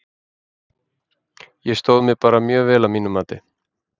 Ég stóð mig bara mjög vel að mínu mati.